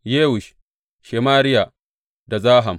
Yewush, Shemariya da Zaham.